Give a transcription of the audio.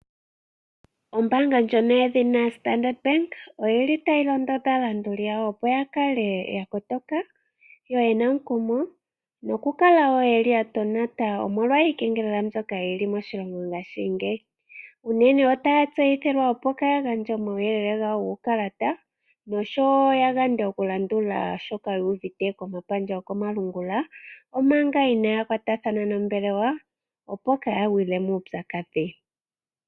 Ombaanga yedhina Standard bank oyili tayi londodha aalanduli yawo opo ya kale ya kotoka, yena omukumo noku kala wo yeli ya tonata omolwa iikengelela mbyoka yili moshilongo ngashingeyi. Unene otaya tseyithilwa opo kaya gandje omauyelele gawo guukalata nosho wo ya gande oku landula shoka yu uvite ko mapandja goko malungula. Omanga inaaya kwatathana nombelewa opo kaaya gwile muupyakadhi.